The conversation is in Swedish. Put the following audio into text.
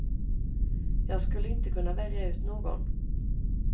Jag skulle inte kunna välja ut någon.